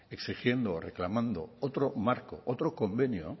exigiendo reclamando otro marco otro convenio